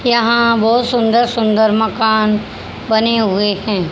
यहां बहुत सुंदर सुंदर मकान बने हुए हैं।